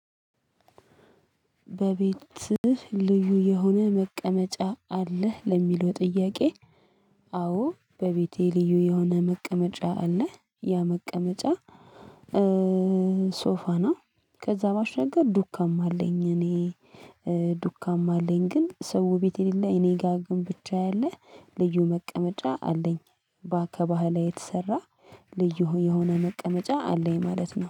በቤትህ ልዩ የሆነ መቀመጫ አለህ ለሚለው ጥያቄ? አዎ በቤቴ ልዩ የሆነ መቀመጫ አለ ያ መቀመጫ ሶፋ ነው። ከዛ ባሻገር ዱካም አለኝ። እኔ ዱካም አለኝ ግን ሰው ቤት የሌለ እኔ ጋር ግን ብቻ ያለ ልዩ መቀመጫ አለኝ። ባከባህ ላይ የተሰራ ልዩ የሆነ መቀመጫ አለኝ ማለት ነው